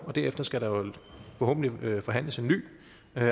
og derefter skal der forhåbentlig forhandles en ny